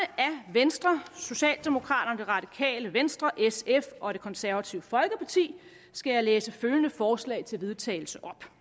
venstre socialdemokraterne det radikale venstre sf og det konservative folkeparti skal jeg læse følgende forslag til vedtagelse op